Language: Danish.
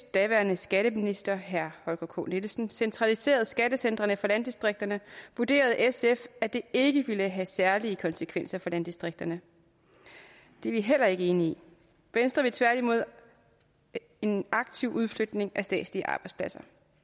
daværende skatteminister herre holger k nielsen centraliserede skattecentrene for landdistrikterne vurderede sf at det ikke ville have særlige konsekvenser for landdistrikterne det er vi heller ikke enige i venstre vil tværtimod en aktiv udflytning af statslige arbejdspladser